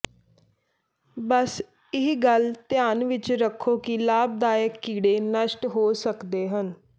ਬਸ ਇਹ ਗੱਲ ਧਿਆਨ ਵਿੱਚ ਰੱਖੋ ਕਿ ਲਾਭਦਾਇਕ ਕੀੜੇ ਨਸ਼ਟ ਹੋ ਸਕਦੇ ਹਨ